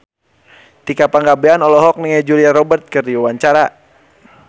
Tika Pangabean olohok ningali Julia Robert keur diwawancara